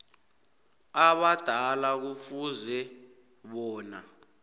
abadala kufuze bona